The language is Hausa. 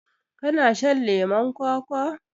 kana shan leman kwakwa